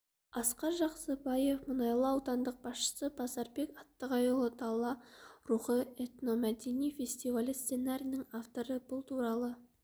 асқар жақсыбаев мұнайлы аудандық басшысы базарбек атығай ұлы дала рухы этномәдени фестивалі сценарийінің авторы бұл туралы